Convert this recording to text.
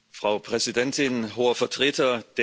Frau Präsidentin, Hoher Vertreter!